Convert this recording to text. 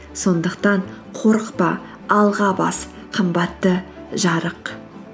сондықтан қорықпа алға бас қымбатты жарық